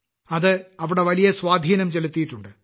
അത് അവിടെ വലിയ സ്വാധീനം ചെലുത്തിയിട്ടുണ്ട്